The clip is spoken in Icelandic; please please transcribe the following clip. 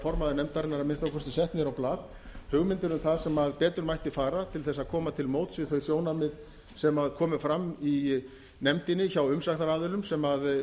formaður nefndarinnar að minnsta kosti sett niður á blað hugmyndir um það sem betur mætti fara til þess að koma til móts við þau sjónarmið sem komu fram í nefndinni hjá umsagnaraðilum sem